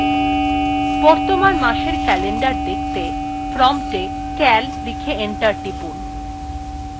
বর্তমান মাসএর calendar দেখতে prompt এ cal লিখে enter টিপুন